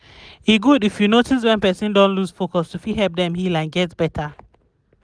e good if you fit notice wen person don loose focus to fit help dem heal and get better